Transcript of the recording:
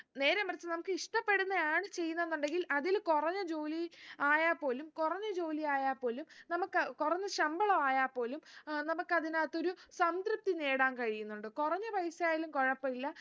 നേരെ മറിച്ച് നമുക്ക് ഇഷ്ട്ടപ്പെടുന്നെ ആണ് ചെയ്യുന്നേന്ന് ഉണ്ടെങ്കിൽ അതിൽ കുറഞ്ഞ ജോലി ആയാ പോലും കുറഞ്ഞ ജോലി ആയാ പോലും നമുക്ക് കുറഞ്ഞ ശമ്പളം ആയാ പോലും ഏർ നമുക്കത്തിനകത്തൊരു സംതൃപ്തി നേടാൻ കഴിയുന്നുണ്ട് കുറഞ്ഞ പൈസ ആയാലും കുഴപ്പഇല്ല